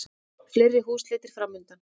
Fleiri húsleitir framundan